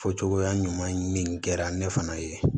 Fɔ cogoya ɲuman ɲini kɛra ne fana ye